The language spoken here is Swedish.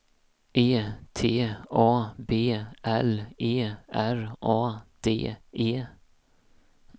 E T A B L E R A D E